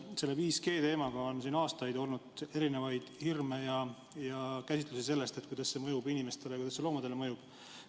Selle 5G teema suhtes on aastaid olnud hirme ja mitmesuguseid käsitlusi sellest, kuidas see mõjub inimestele ja kuidas see mõjub loomadele.